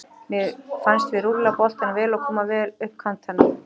Mér fannst við rúlla boltanum vel og koma vel upp kantana.